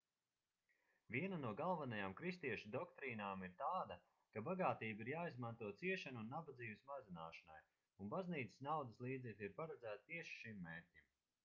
viena no galvenajām kristiešu doktrīnām ir tāda ka bagātība ir jāizmanto ciešanu un nabadzības mazināšanai un baznīcas naudas līdzekļi ir paredzēti tieši šim mērķim